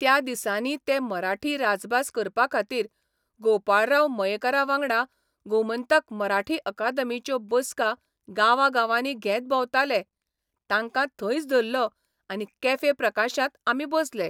त्या दिसांनी ते मराठी राजभास करपा खातीर गोपाळराव मयेकारावांगडा गोमंतक मराठी अकादमीच्यो बसका गांवांवागांनी घेत भोंवताले तांकां थंयच धरलो आनी कॅफे प्रकाशांत आमी बसले.